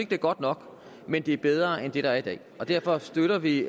det er godt nok men det er bedre end det der er i dag og derfor støtter vi